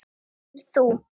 Hefur þú.?